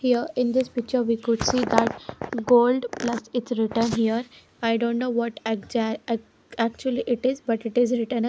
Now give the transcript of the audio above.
here in this picture we could see that gold plus it's written here i don't know egza ac actually it is but it is written h --